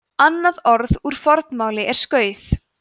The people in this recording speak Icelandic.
annað orð úr fornmáli er skauð